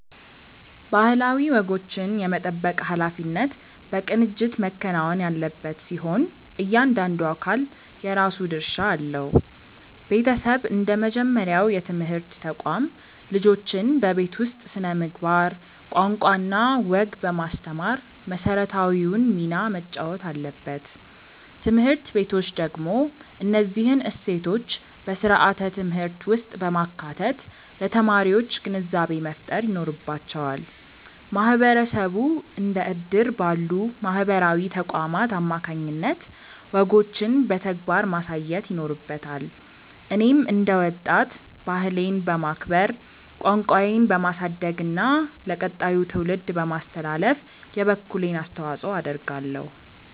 ባህላዊ ወጎችን የመጠበቅ ኃላፊነት በቅንጅት መከናወን ያለበት ሲሆን፣ እያንዳንዱ አካል የራሱ ድርሻ አለው። ቤተሰብ እንደ መጀመሪያው የትምህርት ተቋም፣ ልጆችን በቤት ውስጥ ስነ-ምግባር፣ ቋንቋና ወግ በማስተማር መሰረታዊውን ሚና መጫወት አለበት። ትምህርት ቤቶች ደግሞ እነዚህን እሴቶች በስርዓተ-ትምህርት ውስጥ በማካተት ለተማሪዎች ግንዛቤ መፍጠር ይኖርባቸዋል። ማህበረሰቡ እንደ እድር ባሉ ማህበራዊ ተቋማት አማካኝነት ወጎችን በተግባር ማሳየት ይኖርበታል። እኔም እንደ ወጣት፣ ባህሌን በማክበር፣ ቋንቋዬን በማሳደግና ለቀጣዩ ትውልድ በማስተላለፍ የበኩሌን አስተዋጽኦ አደርጋለሁ።